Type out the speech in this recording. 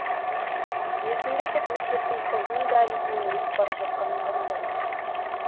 есімде тек мектептің ұзын дәлізінен өтіп бара жатқаным ғана бар